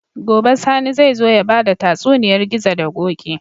Gobe sani zai zo yabada tatsuniyar gizo da koki